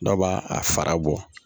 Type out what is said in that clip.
Dɔw b'a a fara bɔ